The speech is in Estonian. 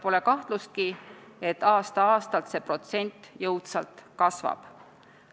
Pole kahtlustki, et aasta-aastalt see protsent jõudsalt kasvab.